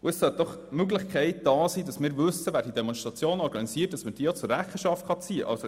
Wir sollten doch wissen, wer diese Demonstrationen organisiert, damit man diese Personen auch zur Rechenschaft ziehen kann.